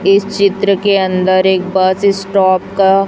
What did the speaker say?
इस चित्र के अंदर एक बस स्टॉप का--